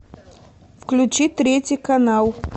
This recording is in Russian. включи третий канал